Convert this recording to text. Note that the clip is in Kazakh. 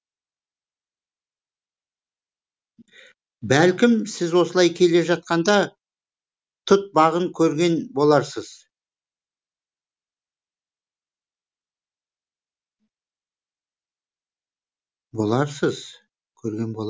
бәлкім сіз осылай келе жатқанда тұт бағын көрген боларсыз